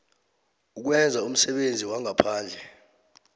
ukwenza umsebenzi wangaphandle